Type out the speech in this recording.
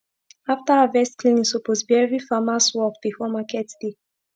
after harvest cleaning suppose be everi farmers work before market day